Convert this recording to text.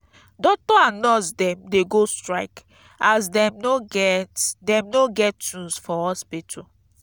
doctor and nurse dem dey go strike as dem no get dem no get tools for hospital.